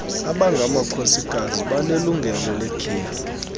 abangamakhosikazi banelungelo lekhefu